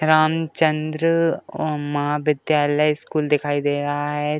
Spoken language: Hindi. रामचन्द्र अम्म महाविद्यालय स्कूल दिखाई दे रहा है।